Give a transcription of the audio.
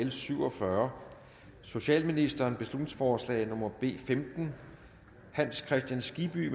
l syv og fyrre socialministeren beslutningsforslag nummer b femten hans kristian skibby